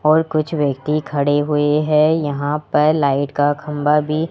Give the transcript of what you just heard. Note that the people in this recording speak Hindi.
और कुछ व्यक्ति खड़े हुए हैं यहां पर लाइट का खंभा भी--